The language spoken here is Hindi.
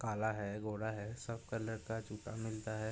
काला है। गोरा है। सब कलर का जूता मिलता है।